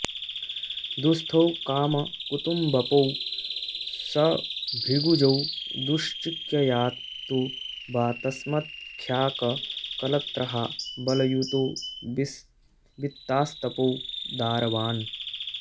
दुःस्थौ कामकुतुम्बपौ सभृगुजौ दुश्चिक्ययात् तु वा तस्मद्ख्याककलत्रहा बलयुतौ वित्तास्तपौ दारवाण्